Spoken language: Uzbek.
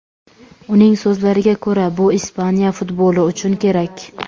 Uning so‘zlariga ko‘ra, bu Ispaniya futboli uchun kerak.